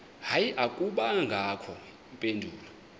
hayi akubangakho mpendulo